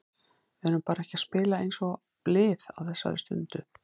Við erum bara ekki að spila eins og lið á þessari stundu.